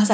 ای